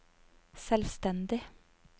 selvstendig